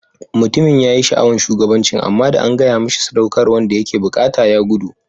Mutumin yayi sha'awan shugabancin amma da an gaya mishi saudakarwan da yake buƙata ya gudu.